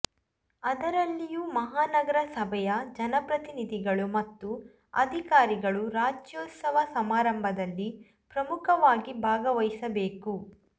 ಅದರಲ್ಲಿಯೂ ಮಹಾನಗರ ಸಭೆಯ ಜನಪ್ರತಿನಿಧಿಗಳು ಮತ್ತು ಅಧಿಕಾರಿಗಳು ರಾಜ್ಯೌತ್ಸವ ಸಮಾರಂಭದಲ್ಲಿ ಪ್ರಮುಖವಾಗಿ ಭಾಗವಹಿಸಬೇಕು